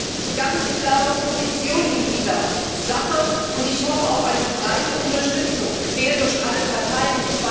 Sie hat eine ganz klare Position in dieser Sache, und ich hoffe auf eine breite Unterstützung quer durch alle Parteien.